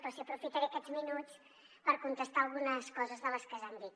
però sí que aprofitaré aquests minuts per contestar algunes coses de les que s’han dit